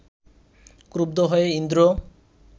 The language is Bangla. ক্রুদ্ধ হয়ে ইন্দ্র